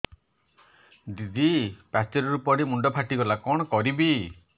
ଦିଦି ପାଚେରୀରୁ ପଡି ମୁଣ୍ଡ ଫାଟିଗଲା କଣ କରିବି